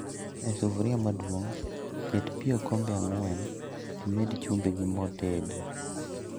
E sufria maduong',ket pii okombe ang'wen timed chumbi gi moo ted